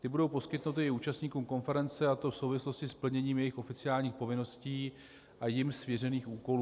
Ty budou poskytnuty i účastníkům konference, a to v souvislosti s plněním jejich oficiálních povinností a jim svěřených úkolů.